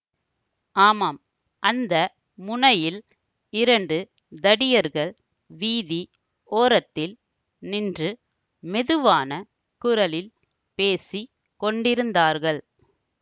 ஆமாம் அந்த முனையில் இரண்டு தடியர்கள் வீதி ஓரத்தில் நின்று மெதுவான குரலில் பேசி கொண்டிருந்தார்கள்